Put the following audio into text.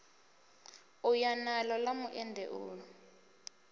u ya naḽo ḽa muendeulu